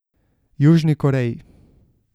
Južni Koreji.